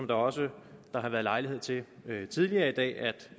der også har været lejlighed til tidligere i dag at